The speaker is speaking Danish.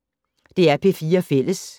DR P4 Fælles